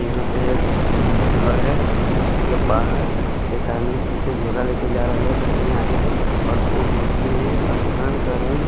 यहां पे एक घर है जिसके बाहर एक आदमी पीछे झोला लेके जा रहा है एक आदमी आगे है और धूप निकली हुई है आसमान का रंग--